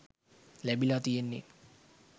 ලැබිලා තියෙන්නේ.